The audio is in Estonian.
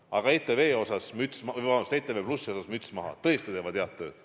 Aga ETV+ ees müts maha, tõesti teevad head tööd.